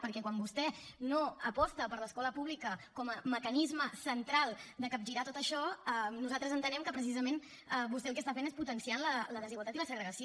perquè quan vostè no aposta per l’escola pública com a mecanisme central de capgirar tot això nosaltres entenem que precisament vostè el que està fent és potenciar la desigualtat i la segregació